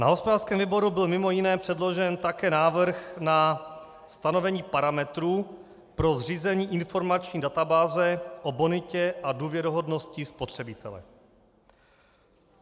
Na hospodářském výboru byl mimo jiné předložen také návrh na stanovení parametrů pro zřízení informační databáze o bonitě a důvěryhodnosti spotřebitele.